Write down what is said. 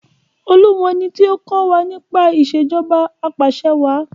Olú mọ ẹni tí ó kọ́ wa nípa Ìṣèjọba Apàṣẹwàá